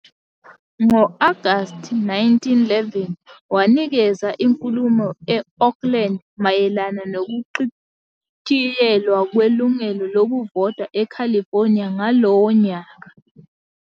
Ngo-August 1911 wanikeza inkulumo e-Oakland mayelana nokuchitshiyelwa kwelungelo lokuvota eCalifornia ngalowo nyaka.